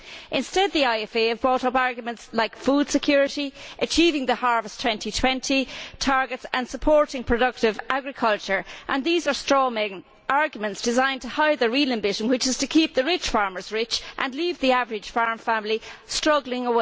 Instead, the IFA have brought up arguments such as food security, achieving the Harvest 2020 targets and supporting productive agriculture. These are straw men' arguments designed to hide their real ambition, which is to keep the rich farmers rich and leave the average farm family struggling.